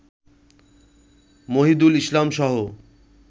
Mohidul ইসলামসহ